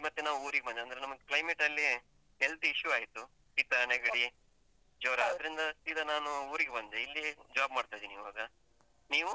ಮತ್ತೆ ನಾವು ಊರಿಗೆ ಬಂದದ್ದು ಅಂದ್ರೆ ನಮ್ಗೆ climate ಅಲ್ಲಿ health issue ಆಯ್ತು. ಶೀತ ನೆಗಡಿ ಜ್ವರ. ದ್ರಿಂದ ಸೀದ ನಾನು ಊರಿಗೆ ಬಂದೆ ಇಲ್ಲಿ job ಮಾಡ್ತ ಇದ್ದೀನಿ ಇವಾಗ, ನೀವು?